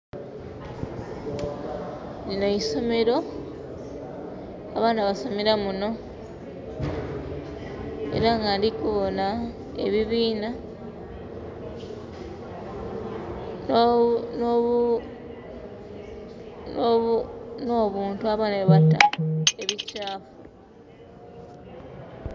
Lino isomero abaana basomera muno era nga ndikubona ebibiina no bunto abaana byebatamu ebikyafu..